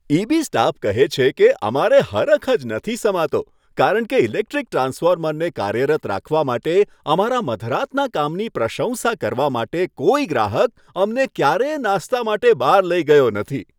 EB staff કહે છે કે, અમારે હરખ જ નથી સમાતો કારણ કે ઇલેક્ટ્રિક ટ્રાન્સફોર્મરને કાર્યરત રાખવા માટે અમારા મધરાતના કામની પ્રશંસા કરવા માટે કોઈ ગ્રાહક અમને ક્યારેય નાસ્તા માટે બહાર લઈ ગયો નથી.